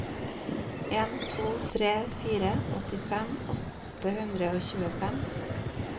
en to tre fire åttifem åtte hundre og tjuefem